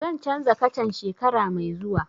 Zan canza kacan shekara mai zuwa